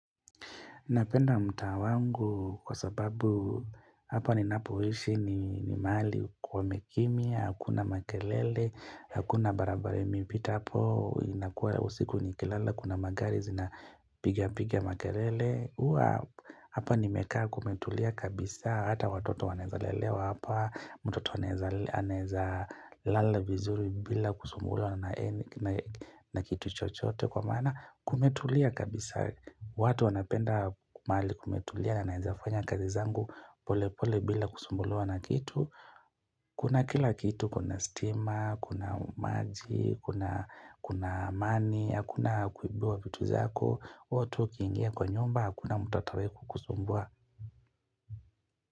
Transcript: Napenda mtaa wangu kwa sababu hapa ninapoishi ni mahali kwa imekimia, hakuna makelele, hakuna barabara imepita hapo, inakuwa usiku nikilala, kuna magari zinapigapiga makelele. Huwa hapa nimekaa kumetulia kabisa hata watoto wanawezalelewa hapa mtoto anaweza lala vizuri bila kusumbuliwa na any na kitu chochoote kwa maana kumetulia kabisa watu wanapenda mahali kumetulia na naezafanya kazi zangu pole pole bila kusumbuliwa na kitu Kuna kila kitu kuna stima, kuna maji, kuna kuna amani, hakuna kuibiwa vitu zako wewe tu ukiingia kwa nyumba hakuna mtu atawai kukusumbua.